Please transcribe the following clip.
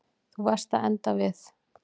Þú varst að enda við.